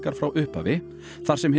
frá upphafi þar sem hið